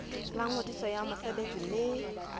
la ngodiso ya mosebetsi mme